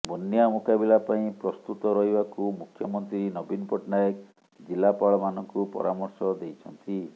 ବନ୍ୟା ମୁକାବିଲା ପାଇଁ ପ୍ରସ୍ତୁତ ରହିବାକୁ ମୁଖ୍ୟମନ୍ତ୍ରୀ ନବୀନ ପଟ୍ଟନାୟକ ଜିଲ୍ଲାପାଳମାନଙ୍କୁ ପରାମର୍ଶ ଦେଇଛନ୍ତି